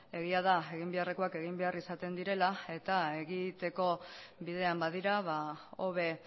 egia da eginbeharrekoak egin behar izaten direla eta egiteko bidean badira hobe